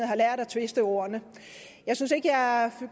har lært at twiste ordene jeg synes ikke jeg